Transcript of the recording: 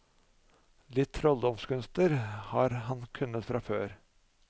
Litt trolldomskunster har han kunnet fra før.